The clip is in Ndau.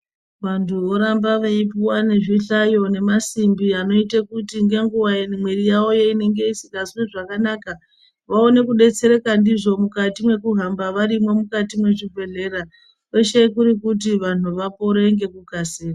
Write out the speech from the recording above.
Vantu voramba veipuva nezvihlayo nemasimbi anoite kuti nenguva mwiri yavo inenge isikazwi zvakanaka. Vaone kubetsereka ndizvo mukati mekuhamba varimwo mukati mwezvibhedhlera, kwese kuri kuti vantu vapore nekukasira.